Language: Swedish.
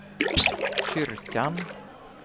kyrkan